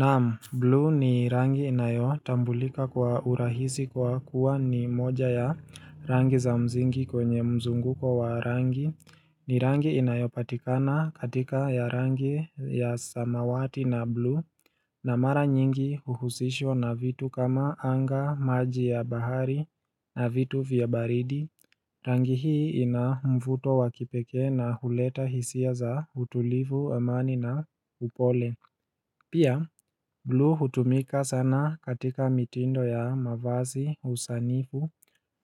Naam, blue ni rangi inayotambulika kwa urahisi kwa kuwa ni moja ya rangi za msingi kwenye mzunguko wa rangi ni rangi inayopatikana katika ya rangi ya samawati na bluu na mara nyingi huhusishwa na vitu kama anga maji ya bahari na vitu vya baridi Rangi hii ina mvuto wa kipekee na huleta hisia za utulivu amani na upole Pia, bluu hutumika sana katika mitindo ya mavazi, usanifu,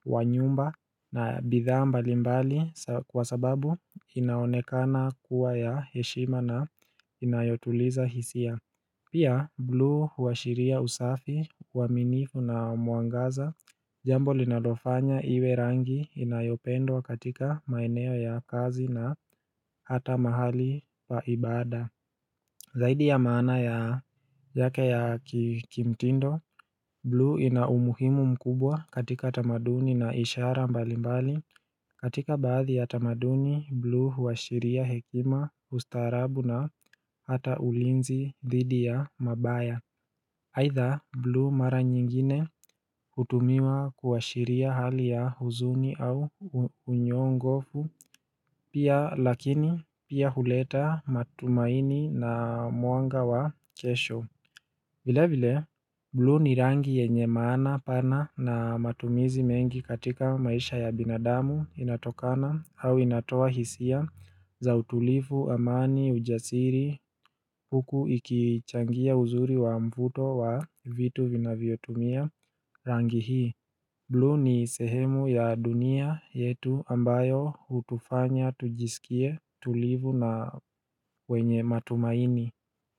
wa nyumba na bidhaa mbalimbali kwa sababu inaonekana kuwa ya heshima na inayotuliza hisia. Pia, blue huashiria usafi, waminifu na mwangaza, jambo linalofanya iwe rangi inayopendwa katika maeneo ya kazi na hata mahali pa ibada. Zaidi ya maana ya yake ya kikimtindo, bluu ina umuhimu mkubwa katika tamaduni na ishara mbalimbali. Katika baadhi ya tamaduni, bluu huashiria hekima, ustaarabu na hata ulinzi dhidi ya mabaya. Haitha, blue mara nyingine hutumiwa kuashiria hali ya huzuni au unyongofu. Pia lakini pia huleta matumaini na mwanga wa kesho vile vile, bluu ni rangi yenye maana pana na matumizi mengi katika maisha ya binadamu inatokana au inatoa hisia za utulivu, amani, ujasiri, huku ikichangia uzuri wa mvuto wa vitu vinavyotumia rangi hii bluu ni sehemu ya dunia yetu ambayo hutufanya tujisikie tulivu na wenye matumaini.